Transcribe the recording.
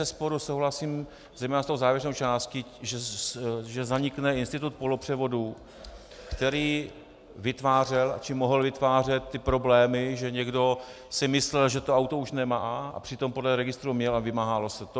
Bezesporu souhlasím zejména s tou závěrečnou částí, že zanikne institut polopřevodů, který vytvářel či mohl vytvářet ty problémy, že někdo si myslel, že to auto už nemá, a přitom podle registru měl a vymáhalo se to.